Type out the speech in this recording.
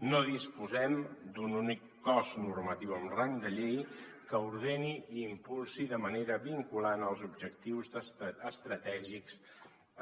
no disposem d’un únic cos normatiu amb rang de llei que ordeni i impulsi de manera vinculant els objectius estratègics